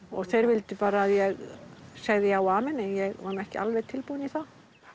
og þeir vildu bara að ég segði já og amen ég var nú ekki alveg tilbúin í það